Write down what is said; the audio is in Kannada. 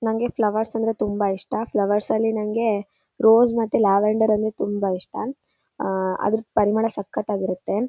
ನಂಗೆ ಫ್ಲವರ್ಸ್ ಅಂದರೆ ತುಂಬ ಇಷ್ಟ ಫ್ಲವರ್ಸ್ ಅಲ್ಲಿ ನಂಗೆ ರೋಸ್ ಮತ್ತೆ ಲ್ಯಾವೆಂಡರ್ ಅಂದ್ರೆ ತುಂಬ ಇಷ್ಟ ಆಹ್ಹ್ ಅದರ ಪರಿಮಳ ಸಕ್ಕತಾಗಿರುತ್ತೆ.